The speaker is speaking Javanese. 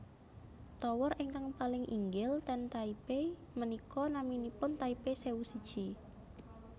Tower ingkang paling inggil ten Taipei menika naminipun Taipei sewu siji